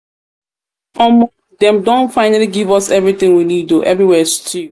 omo dem don dem don finally give us everything we need oo everywhere stew